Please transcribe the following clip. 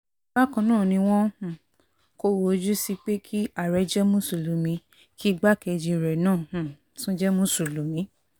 bákan náà ni wọ́n um kọ̀rọ̀ ojú sí pé kí àárẹ̀ jẹ́ mùsùlùmí kí igbákejì rẹ̀ náà um tún jẹ́ mùsùlùmí